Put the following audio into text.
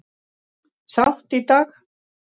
Sátt í dag